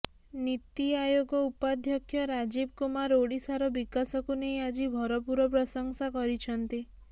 ନିତି ଆୟୋଗ ଉପାଧ୍ୟକ୍ଷ ରାଜୀବ କୁମାର ଓଡିଶାର ବିକାଶକୁ ନେଇ ଆଜି ଭରପୂର ପ୍ରଶଂସା କରିଛନ୍ତି